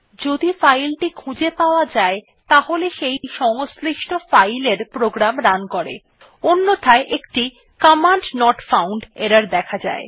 যদি ফাইল টি খুঁজে পাওয়া যায় তাহলে সেই সংশ্লিষ্ট ফাইল এর প্রোগ্রাম রান করে অন্যথায় একটি কমান্ড নট ফাউন্ড এরর দেখা যায়